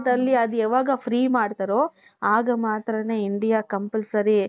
ಅದು ಯಾವಾಗ free ಮಾಡ್ತಾರೋ ಆಗ ಮಾತ್ರಾನೇ India compulsory